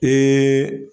Ee